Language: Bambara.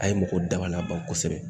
A ye mɔgɔw dabaliya ban kosɛbɛ